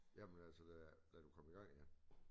Jamen altså da da du kom i gang igen